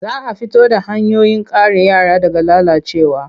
Za a fito da hanyoyin kare yara daga lalacewa.